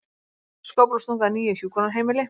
Skóflustunga að nýju hjúkrunarheimili